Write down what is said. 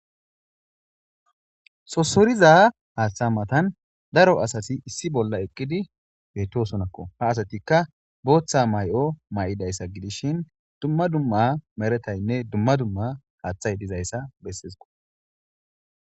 Sossoriza haththe mattan daro asati issi bolla eqqidi bettosonako ha asatika booththa maayo mayidayssa giidishin dumma dumma meretane dumma dumma haththay diizayssa bessesiko.